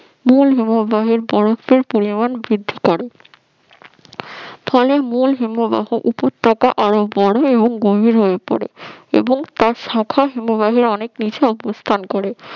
মূল হিমবাহের বরফের পরিমাণ বৃদ্ধি করে ফলে এই হিমবাহ উপত্যকা আরো বড় এবং গভীর হয়ে পড়ে এবং তার শাখা হিমবাহ অনেক নিচে অবস্থান করে